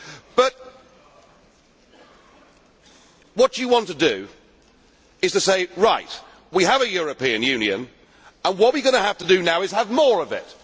But what you want to do is to say, right, we have a European Union and what we have to do now is have more of it.